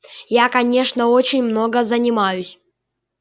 я конечно очень много занимаюсь